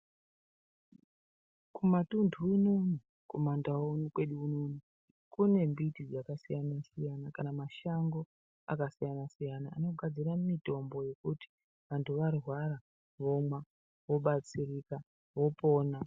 Kumatunhu unono kumandau kwedu unono kune mbiti dzakasiyana-siyana. Kana mashango akasiyana-siyana anogadzira mitombo yekuti kana vantu varwara vomwa vobatsirika vopona.